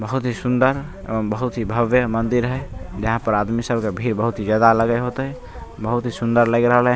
बहुत ही सुन्दर और बहुत भव्य मंदिर हेय यहाँ पर आदमी सब के भीड़ बहुत ही ज्यादा लगे होते बहुत ही सुन्दर लएग रहले ।